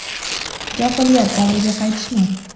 Johiliyat davriga qaytishmi?